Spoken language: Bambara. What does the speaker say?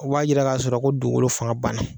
O b'a yira k'a sɔrɔ ko dugukolo fanga banna.